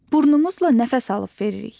Burnumuzla nəfəs alıb veririk.